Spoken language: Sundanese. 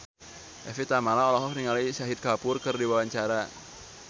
Evie Tamala olohok ningali Shahid Kapoor keur diwawancara